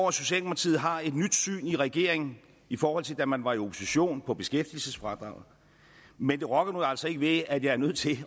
at socialdemokratiet har et nyt syn i regeringen i forhold til da man var i opposition på beskæftigelsesfradraget men det rokker nu altså ikke ved at jeg er nødt til